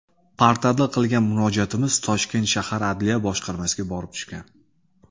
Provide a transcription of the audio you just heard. Portalda qilgan murojaatimiz Toshkent shahar Adliya boshqarmasiga borib tushgan.